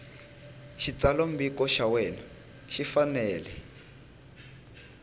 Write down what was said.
xitsalwambiko xa wena xi fanele